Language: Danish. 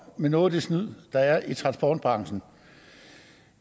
med noget af det snyd der er i transportbranchen